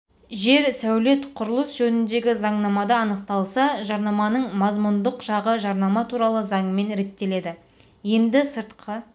жер сәулет құрылыс жөніндегі заңнамада анықталса жарнаманың мазмұндық жағы жарнама туралы заңмен реттеледі енді сыртқы